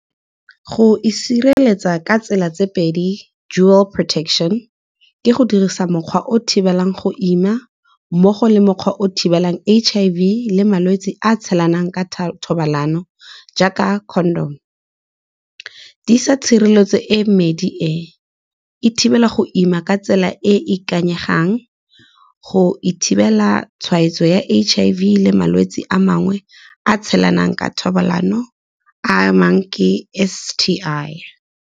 Go e sireletsa ka tsela tse pedi dual protection ke go dirisa mokgwa o thibelang go ima mmogo le mokgwa o thibelang H_I_V le malwetse a tshelanang ka thobalano, jaaka condom. Tshireletso e medi e, e thibela go ima ka tsela e e ikanyegang go ithibela tshwaetso ya H_I_V le malwetse a mangwe a tshelanang ka thobalano a mangwe ke S_T_I.